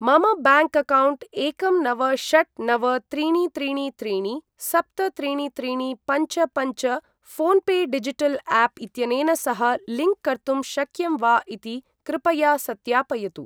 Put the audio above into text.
मम bank account एकं नव षट् नव त्रीणि त्रीणि त्रीणि सप्त त्रीणि त्रीणि पञ्च पञ्च फोन् पे डिजिटल् आप् इत्यनेन सह लिंक् कर्तुं शक्यं वा इति कृपया सत्यापयतु।